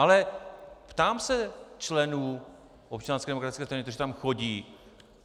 Ale ptám se členů Občanské demokratické strany, kteří tam chodí.